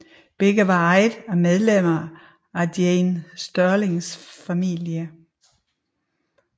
Begge var ejet af medlemmer af Jane Stirlings familie